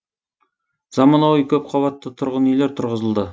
заманауи көпқабатты тұрғын үйлер тұрғызылды